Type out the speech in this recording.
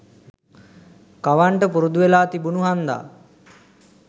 කවන්ට පුරුදු වෙලා තිබුණු හන්දා.